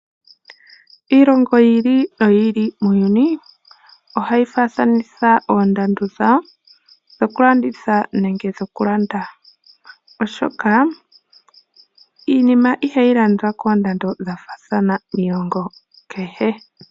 Iilongo yi ili no yi ili muuyuni ohayi faathanitha Oondando dhawo dhoku landitha nenge dhoku landa. Oshoka iinima ihayi landwa koondandoo dhafaathana miilongo kehe.